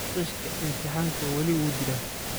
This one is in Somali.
Qishka imtixaanku wali wuu jiraa